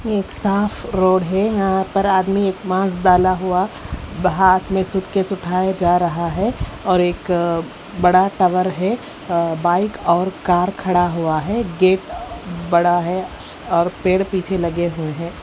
ये एक साफ रोड है यहां पर आदमी एक मास्क डाला हुआ हाथ में सूटकेस उठाए जा रहा है और एक बड़ा टॉवर है बाइक और कार खड़ा हुआ है गेट बड़ा है और पेड़ पीछे लगे हुए हैं।